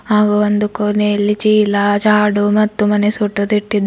ಹಾಗೂ ಒಂದು ಕೊನೆಯಲ್ಲಿ ಚೀಲ ಜಾಡು ಮತ್ತು ಮನೆ ಸೊಟ್ಟದು ಇಟ್ಟಿದ್ದಾ --